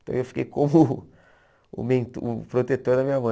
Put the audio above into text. Então, eu fiquei como o ment o protetor da minha mãe.